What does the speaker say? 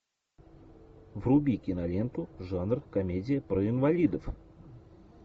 вруби киноленту жанр комедия про инвалидов